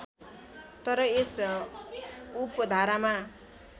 तर यस उपधारामा